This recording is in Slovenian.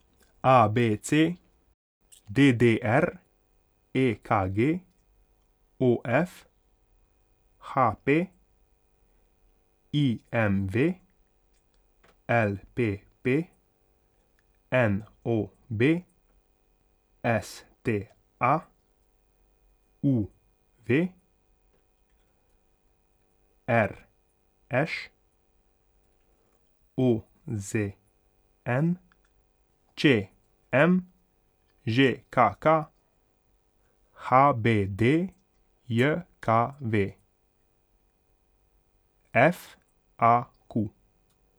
A B C; D D R; E K G; O F; H P; I M V; L P P; N O B; S T A; U V; R Š; O Z N; Č M; Ž K K; H B D J K V; F A Q.